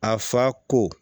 A fa ko